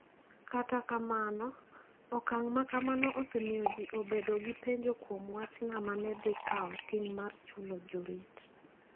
Kata kamano, okang' ma kamano osemiyo ji obedo gi penjo kuom wach ng'ama ne dhi kawo ting mar chulo jorit.